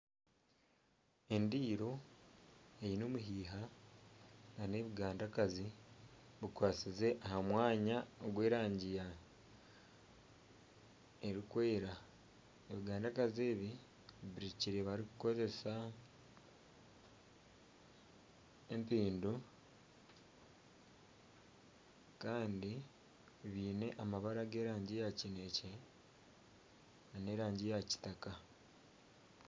Endiiro eine omuhiha nana ebigandakazi bikwasize aha mwanya ogw'erangi erikwera ebigandakazi ebi birukirwe barikukoresa empindu kandi biine amabara ag'erangi ya kineekye nana erangi ya kitaka